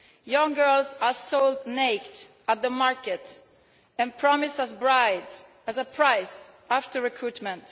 Young girls are sold naked at the market and promised as brides at a price after recruitment.